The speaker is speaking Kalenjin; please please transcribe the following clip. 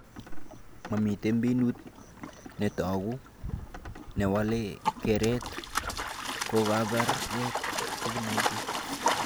Mamite mbinut netoku newalee keret kokakobek Covid-19